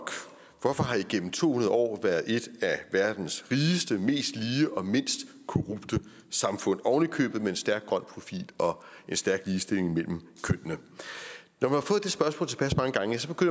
hvorfor har i gennem to hundrede år været et af verdens rigeste mest lige og mindst korrupte samfund ovenikøbet med en stærk grøn profil og en stærk ligestilling mellem kønnene når